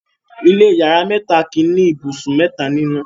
ilé iyàrá mẹta kí ní ibùsùn mẹta nínú.